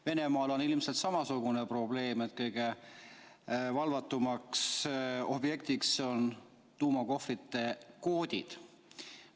Venemaal on ilmselt samasugune probleem, et kõige valvatum objekt on tuumakohvrite koodid.